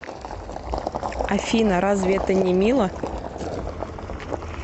афина разве это не мило